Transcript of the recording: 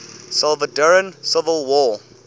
salvadoran civil war